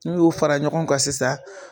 N'u y'o fara ɲɔgɔn ka sisan